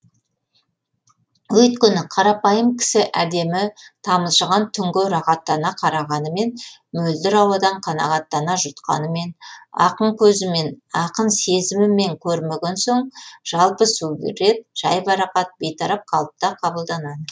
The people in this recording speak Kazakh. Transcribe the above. өйткені қарапайым кісі әдемі тамылжыған түнге рахаттана қарағанымен мөлдір ауадан қанағаттана жұтқанымен ақын көзімен ақын сезімімен көрмеген соң жалпы сурет жайбарақат бейтарап қалыпта қабылданады